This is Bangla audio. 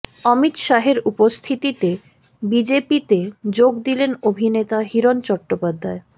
অমিত শাহের উপস্থিতিতে বিজেপিতে যোগ দিলেন অভিনেতা হিরণ চট্টোপাধ্যায়